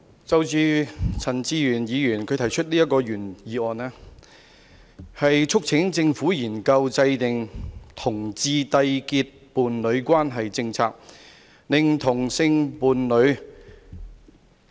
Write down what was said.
我們今天所討論的，是陳志全議員動議的"研究制訂讓同志締結伴侶關係的政策"議案。